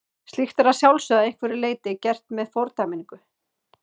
Slíkt er að sjálfsögðu að einhverju leyti gert með fordæmingu.